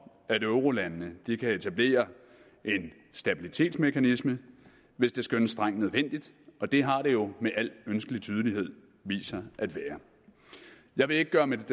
at eurolandene kan etablere en stabilitetsmekanisme hvis det skønnes strengt nødvendigt og det har det jo med al ønskelig tydelighed vist sig at være jeg vil ikke gøre mit